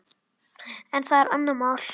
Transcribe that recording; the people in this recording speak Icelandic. En það er annað mál.